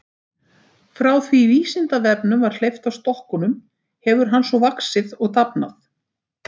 Frá því að Vísindavefnum var hleypt af stokkunum hefur hann svo vaxið og dafnað.